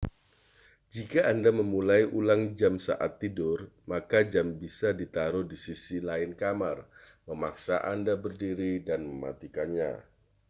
jika anda memulai ulang jam saat tidur maka jam bisa di taruh di sisi lain kamar memaksa anda berdiri dan mematikannya